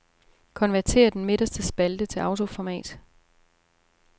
Konvertér den midterste spalte til autoformat.